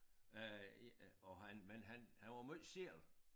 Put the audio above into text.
Øh og han men han han var måj selv